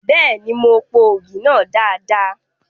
Bẹ́ẹ̀ni, mo po ògì náà dada.